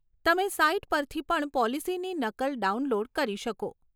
તમે સાઈટ પરથી પણ પોલિસીની નકલ ડાઉનલોડ કરી શકો.